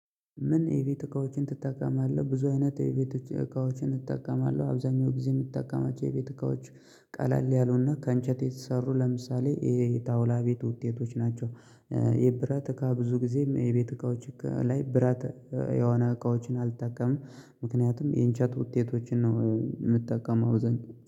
ምን የቤት እቃዎችን ትጠቀማለህ? ብዙ አይነት የቤት እቃዎችን እጠቀማለሁ አብዛኛው ጊዜ የምትጠቀማቸው የቤት እቃዎች ቀለል ያሉና ከእንጨት የተሰሩ ለምሳሌ ይሄ የጣውላ ቤት ውጤቶች ናቸው። የብረት እካ ብዙ ጊዜም የቤት እቃዎች እቃ ላይ በረት የሆነ እቃዎችን አልጠቀምም። ምክንያቱም የእንጨት ውጤቶችን ነው የምትጠቀመው አብዛኛው